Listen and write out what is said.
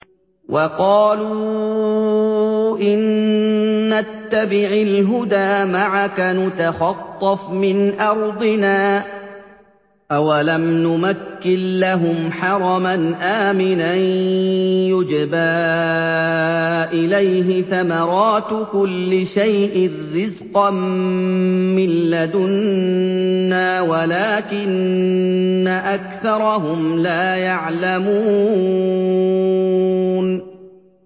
وَقَالُوا إِن نَّتَّبِعِ الْهُدَىٰ مَعَكَ نُتَخَطَّفْ مِنْ أَرْضِنَا ۚ أَوَلَمْ نُمَكِّن لَّهُمْ حَرَمًا آمِنًا يُجْبَىٰ إِلَيْهِ ثَمَرَاتُ كُلِّ شَيْءٍ رِّزْقًا مِّن لَّدُنَّا وَلَٰكِنَّ أَكْثَرَهُمْ لَا يَعْلَمُونَ